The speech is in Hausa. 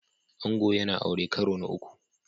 Ango yana aure karo na uku